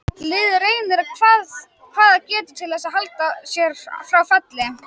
Liðið reynir hvað það getur til þess að halda sér frá falli.